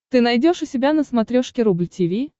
ты найдешь у себя на смотрешке рубль ти ви